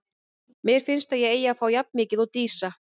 Mér finnst að ég eigi að fá jafn mikið og Dísa.